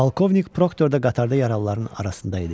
Polkovnik Proktorda qatarda yaralıların arasında idi.